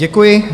Děkuji.